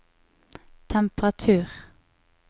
temperatur